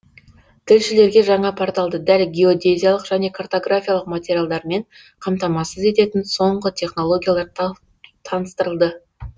тілшілерге жаңа порталды дәл геодезиялық және картографиялық материалдармен қамтамасыз ететін соңғы технологиялар таныстырылды